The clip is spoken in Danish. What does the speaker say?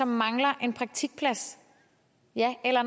mangler en praktikplads ja eller